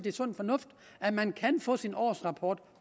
er sund fornuft at man kan få sin årsrapport